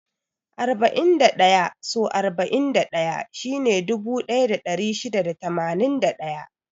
Arba'in da ɗaya so arba'in da ɗaya shine dubu ɗaya da ɗari shida da tamanin da ɗaya.